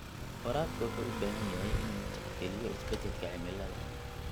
Waraabka wuxuu u baahan yahay inuu tixgeliyo isbeddelka cimilada.